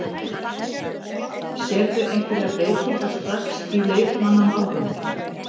Sérðu einhverjar breytingar strax í leikmannamálum?